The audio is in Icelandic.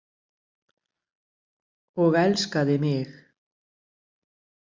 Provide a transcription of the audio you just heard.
Og elskaði mig.